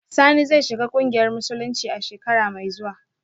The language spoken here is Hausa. Sani zai shiga kungiyar musulunci a shekara mai zuwa